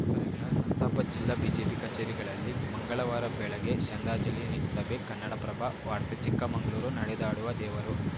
ರಣಿಗಳ ಸಂತಾಪ ಜಿಲ್ಲಾ ಬಿಜೆಪಿ ಕಚೇರಿಗಳಲ್ಲಿ ಮಂಗಳವಾರ ಬೆಳಗ್ಗೆ ಶ್ರಂದ್ದಾಜಲಿ ಸಭೆ ಕನ್ನಡಪ್ರಭ ವಾರ್ತೆ ಚಿಕ್ಕಮಂಗಳೂರು ನಡೆದಾಡುವ ದೇವರು